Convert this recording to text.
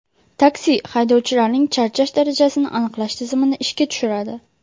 Taksi” haydovchilarning charchash darajasini aniqlash tizimini ishga tushiradi.